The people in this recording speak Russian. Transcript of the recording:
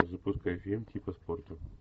запускай фильм типа спорта